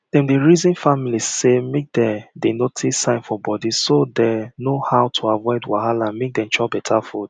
dem dey reason families say make dem dey notice sign for body so dem go no how to aviod wahala make dem chop better food